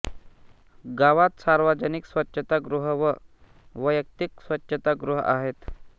गावात सार्वजनिक स्वच्छता गृह व वैयक्तिक स्वच्छता गृह आहेत